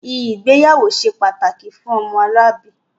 Ìgbéyàwó ṣe pàtàkì fún ọmọlúàbí